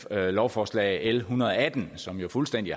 lovforslag l en hundrede og atten som jo fuldstændig